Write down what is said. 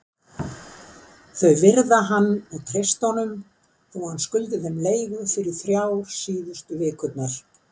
Þau virða hann og treysta honum þó hann skuldi þeim leigu fyrir þrjár síðustu vikurnar.